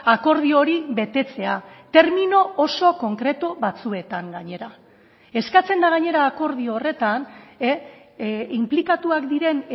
akordio hori betetzea termino oso konkretu batzuetan gainera eskatzen da gainera akordio horretan inplikatuak diren